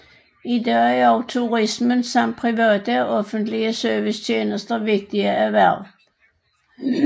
I dag er også turisme samt private og offentlige servicetjenester vigtige erhverv